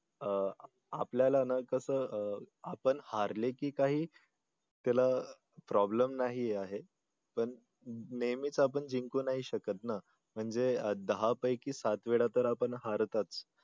अह आपल्याला ना कसं अह आपण हार्ले की काही त्याला problem नाही आहे पण नेहमीच आपण जिंकू नाही शकत ना म्हणजे दहापैकी सात वेळा तर आपण हारतोच.